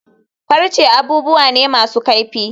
Farce abubuwa ne masu kaifi.